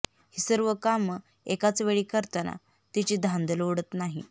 ही सर्व कामं एकाच वेळी करताना तिची धांदल उडत नाही